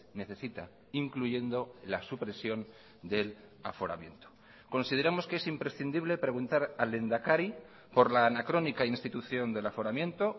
necesita incluyendo la supresión del aforamiento consideramos que es imprescindible preguntar al lehendakari por la anacrónica institución del aforamiento